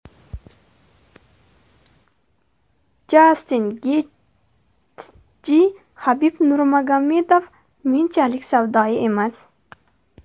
Jastin Getji: Habib Nurmagomedov menchalik savdoyi emas.